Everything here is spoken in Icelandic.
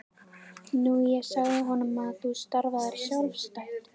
Nú ég sagði honum að þú starfaðir sjálfstætt.